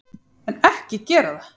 En, ekki gera það!